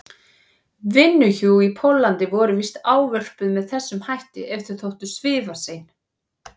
vinnuhjú í Póllandi voru víst ávörpuð með þessum hætti ef þau þóttu svifasein.